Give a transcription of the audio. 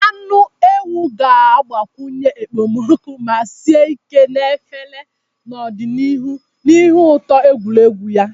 Anụ ewu ga-agbakwunye ekpomeekpo ma sie ike na efere n'ọdịnihu n'ihi ụtọ egwuregwu ya.